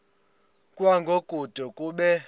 kwango kude kube